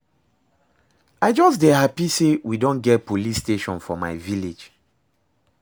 I just dey happy say we don get police station for my village